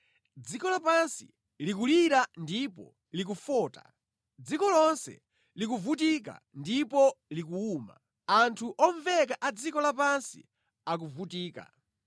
Dziko lapansi likulira ndipo likufota, dziko lonse likuvutika ndipo likuwuma, anthu omveka a dziko lapansi akuvutika.